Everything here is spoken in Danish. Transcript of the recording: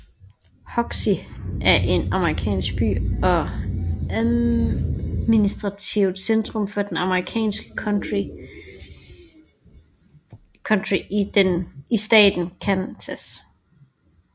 Hoxie er en amerikansk by og administrativt centrum for det amerikanske county Sheridan County i staten Kansas